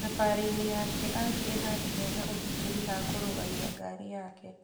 Thabarĩ-inĩ yake agire handũ hena ũgitĩri ha kũrũgamia ngari yake.